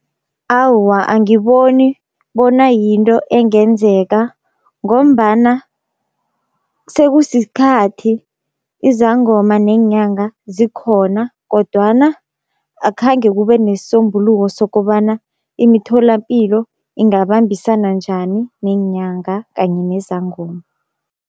Awa angiboni bona yinto engenzeka, ngombana sekusikhathi izangoma neenyanga zikhona kodwana akhange kube nesisombuluko, sokobana imitholapilo ingabambisana njani neenyanga kanye nezangoma.